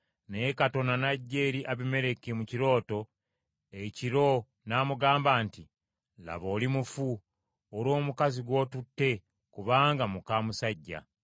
Naye Katonda n’ajja eri Abimereki mu kirooto ekiro n’amugamba nti, “Laba oli mufu, olw’omukazi gw’otutte kubanga muka musajja.”